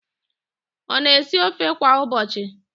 Ọ na-esi ofe kwa ụbọchị?